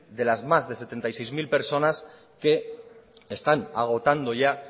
de las más de setenta y seis mil personas que están agotando ya